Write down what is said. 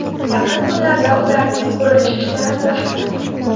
Yaqin kunlarda ularning qurilish ishlari boshlanadi.